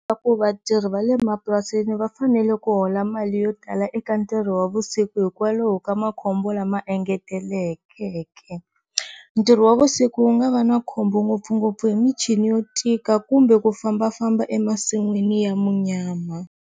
Swa ku vatirhi va le mapurasini va fanele ku hola mali yo tala eka ntirho wa vusiku hikwalaho ka makhombo lama engetelekeke, ntirho wa vusiku wu nga va na khombo ngopfungopfu hi michini yo tika kumbe ku fambafamba emasin'wini ya munyama.